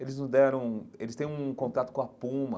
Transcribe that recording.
Eles não deram... Eles têm um contato com a Puma,